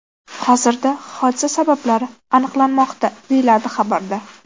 Hozirda hodisa sabablari aniqlanmoqda”, deyiladi xabarda.